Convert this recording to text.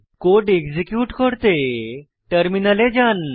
code execute করতে টার্মিনালে যান